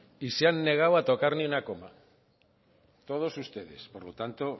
y se han negado a tocar ninguna coma todos ustedes por lo tanto